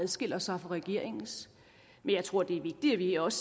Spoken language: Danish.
adskiller sig fra regeringens men jeg tror det er vigtigt at vi også